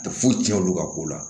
Tɛ foyi tiɲɛ olu ka ko la